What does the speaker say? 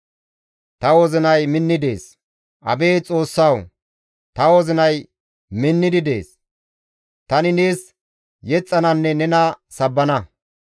Ta wozinay minni dees; abeet Xoossawu! Ta wozinay minnidi dees; tani nees yexxananne nena sabbana.